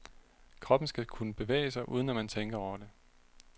Kroppen skal kunne bevæge sig uden at man tænker over det.